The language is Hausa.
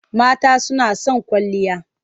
Mata suna son kwalliya.